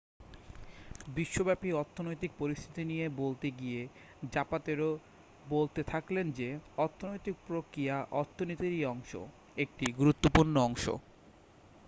বিশ্বব্যপী অর্থনৈতিক পরিস্থিতি নিয়ে বলতে গিয়ে জাপাতেরো বলতে থাকলেন যে ''অর্থনৈতিক প্রক্রিয়া অর্থনীতিরই অংশ একটি গুরুত্বপূর্ণ অংশ।''